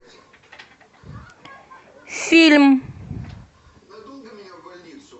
фильм